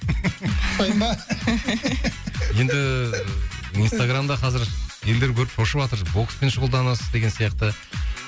ұқсаймын ба енді инстаграмда қазір елдер көріп шошыватыр бокспен шұғылданасыз деген сияқты